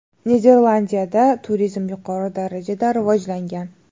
Niderlandiyada turizm yuqori darajada rivojlangan.